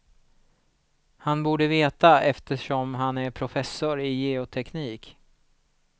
Han borde veta eftersom han är professor i geoteknik.